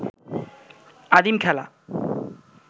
আদিম খেলা